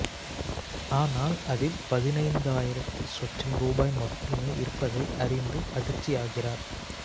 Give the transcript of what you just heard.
ஆனால் அதில் பதினைந்தாயிரந்து சொச்சம் ரூபாய் மட்டுமே இருப்பதை அறிந்து அதிர்ச்சியாகிறார்